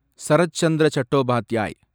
Sarath Chandra Chattopadhyay